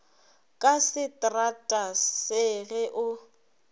ka setrata se ge o